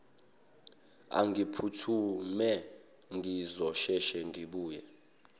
angiphuthume ngizosheshe ngibuye